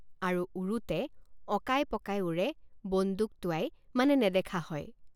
আৰু উৰোতে অকাইপকাই উৰে বন্দুক টোঁৱাই মানে নেদেখা হয়।